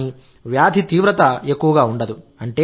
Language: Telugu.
కానీ వ్యాధి తీవ్రత ఎక్కువగా ఉండదు